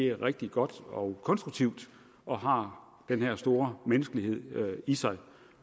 er rigtig godt og konstruktivt og har den her store menneskelighed i sig